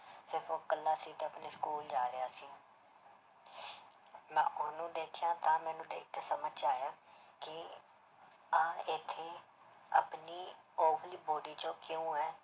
ਸਿਰਫ਼ ਉਹ ਇਕੱਲਾ ਸੀ ਤੇ ਆਪਣੇ school ਜਾ ਰਿਹਾ ਸੀ ਮੈਂ ਉਹਨੂੰ ਦੇਖਿਆ ਤਾਂ ਮੈਨੂੰ ਦੇਖ ਕੇ ਸਮਝ 'ਚ ਆਇਆ ਕਿ ਆਹ ਇੱਥੇ ਆਪਣੀ ਉਹ ਵਾਲੀ body 'ਚ ਕਿਉੁਂ ਹੈ